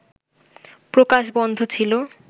প্রকাশ বন্ধ ছিল